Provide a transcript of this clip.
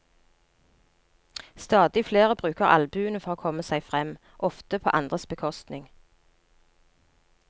Stadig flere bruker albuene for å komme seg frem, often på andres bekostning.